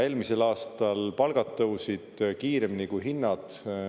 Eelmisel aastal palgad tõusid kiiremini kui hinnad.